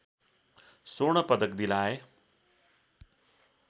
स्वर्ण पदक दिलाए